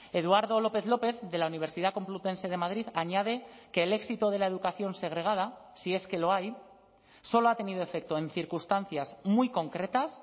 eduardo lópez lópez de la universidad complutense de madrid añade que el éxito de la educación segregada si es que lo hay solo ha tenido efecto en circunstancias muy concretas